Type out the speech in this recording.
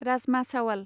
rajma चावाल